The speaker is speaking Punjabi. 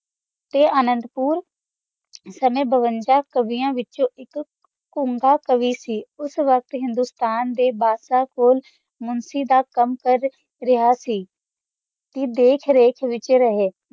ਤਾ ਅਨੰਦੁ ਪੁਰ ਸਮਾਂ ਬਵੰਜਾ ਸਾੜਿਆ ਵਿਤ੍ਚੋ ਉਮ੍ਬਾ ਤਾਵਿਆਦ ਵਿਤਚ ਹਿੰਦੁਈ ਸਤਮ ਦਾ ਬਸਾ ਪੁਰ ਚ ਕਾਮ ਕਰ ਰਹਾ ਸੀ ਦਾਖ ਵਖ ਵਿਤਚ ਰਹਾ ਸੀ